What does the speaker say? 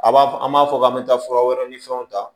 A b'a fɔ an b'a fɔ k'an bɛ taa fura wɛrɛw ni fɛnw ta